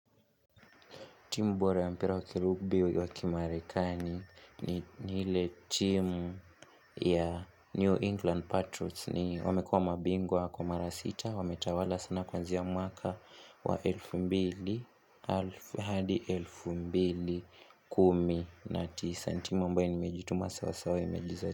Timu bora ya mpira wakilubi wakimarekani ni ile timu ya New England Patriots ni wamekua mabingwa kwa mara 6 wametawala sana kuanzia mwaka wa 2000 hadi 2019 ni timu ambayo imejutuma sawasawa mejiza.